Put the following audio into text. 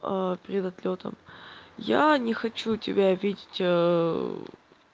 а перед отлётом я не хочу тебя обидеть